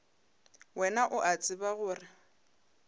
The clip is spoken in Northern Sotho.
wena o a tseba gore